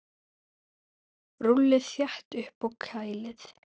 Rúllið þétt upp og kælið.